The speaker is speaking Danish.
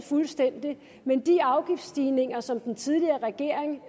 fuldstændig mens de afgiftsstigninger som den tidligere regering